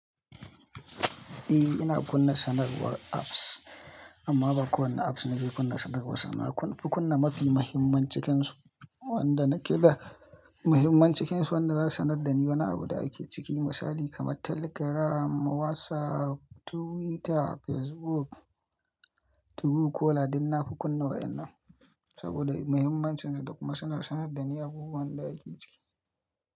Eh ina kunna sanarwar apps amma ba kowane apps nake kunna sanarwar su ba. Na Kufi kunna mafi muhimman cikinsu wanda nake da muhimman cikinsu wanda za su sanar da ni wani abu da ake ciki. Misali kamar Telegram, WhatsApp, Twitter, Facebook, Truecaller duk na fi kunna waƴannan saboda muhimmancin su da kuma suna sanar da ni abubuwan da ake ciki.